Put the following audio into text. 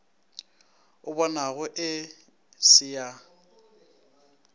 o bonago e se ya